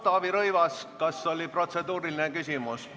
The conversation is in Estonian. Taavi Rõivas, kas protseduuriline küsimus?